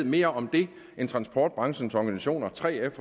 mere om det end transportbranchens organisationer 3f